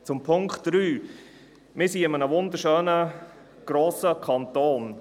Zur Ziffer 3: Wir leben in einem wunderschönen, grossen Kanton.